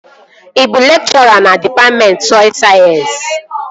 Ị bụ lekchọra na dịpatmentị sọy sayensị?